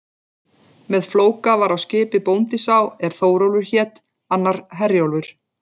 Með Flóka var á skipi bóndi sá er Þórólfur hét, annar Herjólfur.